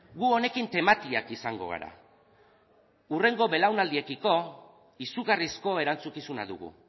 gu honekin tematiak izango gara hurrengo belaunaldiekiko izugarrizko erantzukizuna dugu